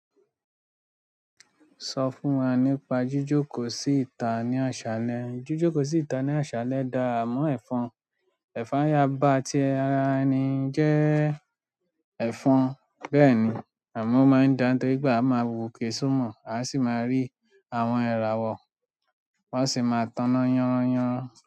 Sọ fún wa nípa jíjókòó sí ìta ní àṣálẹ́. Jíjókòó sí ìta ní àṣálẹ́ dá à mọ́ ẹ̀fọn. Ẹ̀fọn yaba ti ara ẹni jẹ́ ẹ̀fọn. Bẹ́ẹ̀ni, àmọ́ o máa ń dá, toripe a máa wope só mọ, a sì máa rí àwọn ìràwọ̀, wọ́n sì máa tànán yanran yanran.